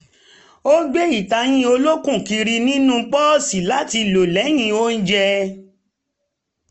ó gbé ìtayín olókùn kiri nínú pọ́ọ̀sì láti lo lẹ́yìn ounjẹ